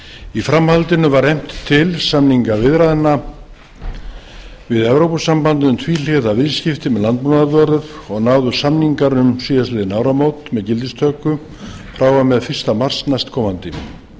í framhaldinu var efnt til samningaviðræðna við evrópusambandið um tvíhliða viðskipti með landbúnaðarvörur og náðust samningar um síðastliðin áramót með gildistöku frá og með fyrsta mars næstkomandi